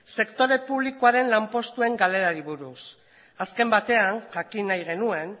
sektore publikoaren lanpostuen galerari buruz azken batean jakin nahi genuen